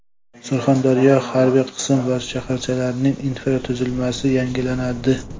Surxondaryoda harbiy qism va shaharchalarning infratuzilmasi yangilanadi.